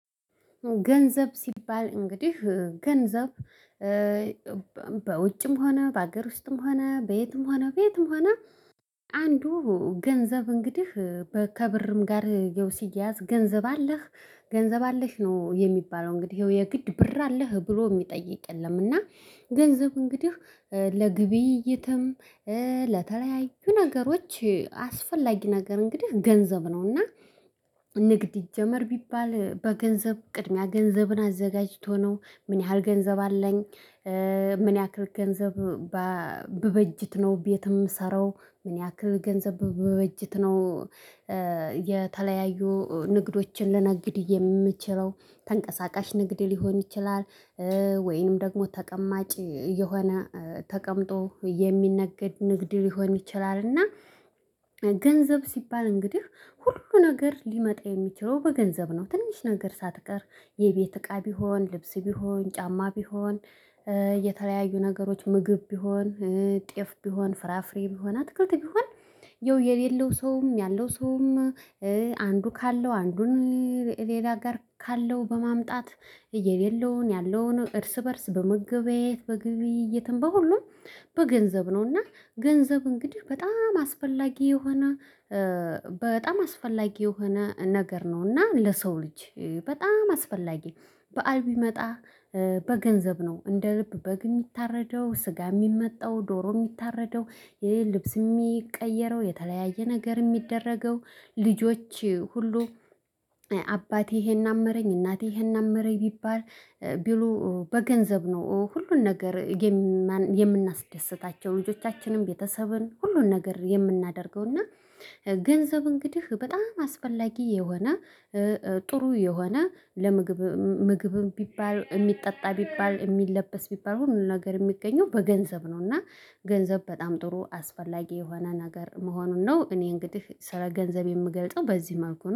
ገንዘብ ሲባል እንግዲህ ገንዘብ በውጭም ሆነ በሀገር ውስጥም ሆነ በየትም ሆነ በየትም ሆነ አንዱ ገንዘብ እንግዲህ ከብርም ጋር ሲያያዝ ገንዘብ አለህ ገንዘብ አለሽ ነው የሚባለው እንግዲህ ይኸው የግድ ብር አለህ ብሎ የሚጠይቅ የለም። እና ገንዘብ እንግዲህ ለግብይ እይትም ለተለያዩ ነገሮች አስፈላጊ ነገር እንግዲህ ገንዘብ ነውና። ንግድ ይጀመር ቢባል በገንዘብ ቅድሚያ ገንዘብን አዘጋጅቶ ነው ምን ያህል ገንዘብ አለኝ። ምን ያክል ገንዘብ ብበጅት ነው ቤት የምሰራው። ምን ያክል ገንዘብ በበጅት ነው። የተለያዩ ንግዶችን ልነግድ የምትችለው ተንቀሳቃሽ ንግድ ሊሆን ይችላል። ወይንም ደግሞ ተቀማጭ የሆነ ተቀምጦ የሚነግድ ንግድ ሊሆን ይችላል። እና ሲባል እንግዲህ ሁሉ ነገር ሊመጣ የሚችለው በገንዘብ ነው። ትንሽ ነገር ሳትቀር የቤት እቃ ቢሆን ልብስ ቢሆን ጫማ ቢሆን። የተለያዩ ነገሮች ምግብ ቢሆን። ጤፍ ቢሆን ፍራፍሬ ቢሆን አትክልት ቢሆን። የሌለው ሰውም ያለው ሰውም። አንዱ ካለው አንዱን ሌላ ጋር ካለው በማምጣት። የሌለውን ያለውን እርስ በእርስ በመገበያየት በግብይትም በሁሉም በገንዘብ ነው። እና ገንዘብ እንግዲህ በጣም አስፈላጊ የሆነ በጣም አስፈላጊ የሆነ ነገር ነውና ለሰው ልጅ። በጣም አስፈላጊ በዓል ቢመጣ በገንዘብ ነው እንደ ልብ በግ የሚታረደው ስጋ የሚመጣው ዶሮ የሚታረደው የ ልብስ የሚቀየረው የተለያየ ነገር የሚደረገው። ልጆች ሁሉ አባቴ ይሄን አመረኝ እናቴ ይሄን አመረኝ ቢባል ቢሉ በገንዘብ ነው ሁሉን ነገር። የምናስደስታቸው ልጆቻችንም ቤተሰብን ሁሉን ነገር የምናደርገው እና። ገንዘብ እንግዲህ በጣም አስፈላጊ የሆነ ጥሩ የሆነ ለምግብ ምግብም ቢባል የሚጠጣ ቢባል የሚለበስ ቢባል ሁሉ ነገር የሚገኘው በገንዘብ ነው። እና ገንዘብ በጣም ጥሩ አስፈላጊ የሆነ ነገር መሆኑን ነው። እኔ እንግዲህ ስራ ገንዘብ የምገልጸው በዚህ መልኩ ነው